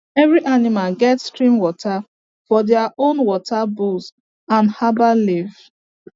every animal get stream water for their own water bowls and herbal leaf